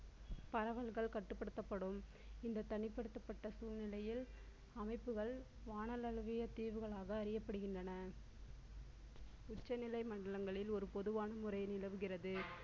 பரவல்கள் கட்டுப்படுத்தப்படும் என்று தனிப்படுத்தப்பட்ட சூழ்நிலையில் அமைப்புகள் வாணல் அளவிய தீர்வுகளாக அறியப்படுகின்றன. உச்ச நிலை மண்டலங்களில் ஒரு பொதுவான முறை நிலவுகிறது